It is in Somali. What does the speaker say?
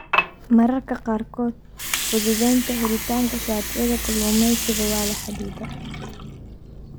Mararka qaarkood, fududaynta helitaanka shatiyada kalluumaysiga waa la xaddidaa.